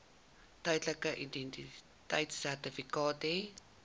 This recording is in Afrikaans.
tydelike identiteitsertifikaat hê